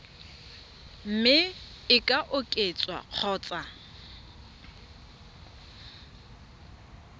mme e ka oketswa kgotsa